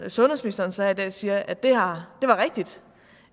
sundhedsministeren så i dag siger at det var rigtigt